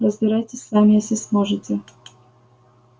разбирайтесь сами если сможете